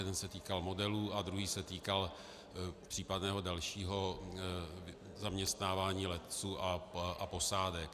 Jeden se týkal modelů a druhý se týkal případného dalšího zaměstnávání letců a posádek.